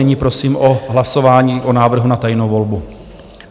Nyní prosím o hlasování o návrhu na tajnou volbu.